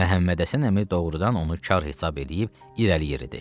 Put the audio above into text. Məhəmmədhəsən əmi doğurdan onu kar hesab eləyib irəli yeridi.